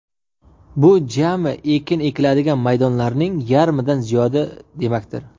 Bu jami ekin ekiladigan maydonlarning yarmidan ziyodi demakdir.